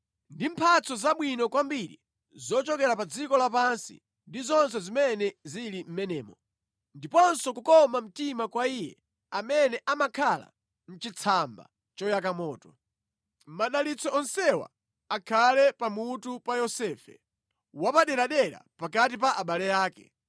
ndi mphatso zabwino kwambiri zochokera pa dziko lapansi ndi zonse zimene zili mʼmenemo ndiponso kukoma mtima kwa Iye amene amakhala mʼchitsamba choyaka moto. Madalitso onsewa akhale pa mutu pa Yosefe, wapaderadera pakati pa abale ake.